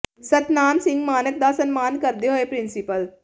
ਸਤਨਾਮ ਸਿੰਘ ਮਾਣਕ ਦਾ ਸਨਮਾਨ ਕਰਦੇ ਹੋਏ ਪ੍ਰਿੰਸੀਪਲ ਡਾ